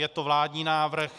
Je to vládní návrh.